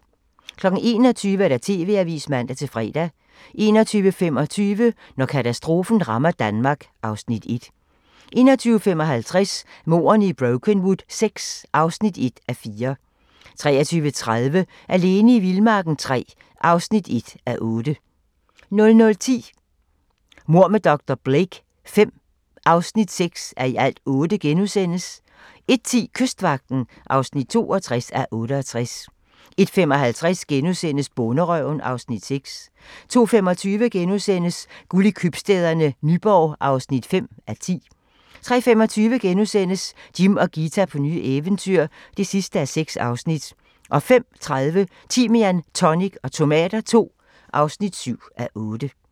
21:00: TV-avisen (man-fre) 21:25: Når katastrofen rammer Danmark (Afs. 1) 21:55: Mordene i Brokenwood VI (1:4) 23:30: Alene i vildmarken III (1:8) 00:10: Mord med dr. Blake V (6:8)* 01:10: Kystvagten (62:68) 01:55: Bonderøven (Afs. 6)* 02:25: Guld i købstæderne - Nyborg (5:10)* 03:25: Jim og Ghita på nye eventyr (6:6)* 05:30: Timian, tonic og tomater II (7:8)